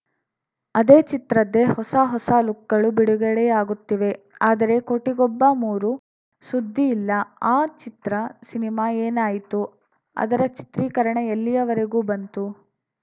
ಅದೇ ಚಿತ್ರದ್ದೇ ಹೊಸ ಹೊಸ ಲುಕ್‌ಗಳು ಬಿಡುಗಡೆಯಾಗುತ್ತಿವೆ ಆದರೆ ಕೋಟಿಗೊಬ್ಬ ಮೂರು ಸುದ್ದಿ ಇಲ್ಲ ಆ ಚಿತ್ರ ಸಿನಿಮಾ ಏನಾಯಿತು ಅದರ ಚಿತ್ರೀಕರಣ ಎಲ್ಲಿಯವರೆಗೂ ಬಂತು